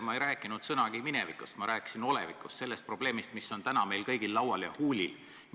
Ma ei rääkinud sõnagi minevikust, ma rääkisin olevikust, sellest probleemist, mis on täna meil kõigil laual ja huulil.